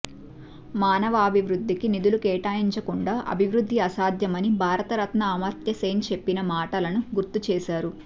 మానవాభివృద్ధికి నిధులు కేటాయించకుండా అభివృద్ధి అసాధ్యమని భారత రత్న అమర్త సేన్ చెప్పిన మాటలను గుర్తు చేశారు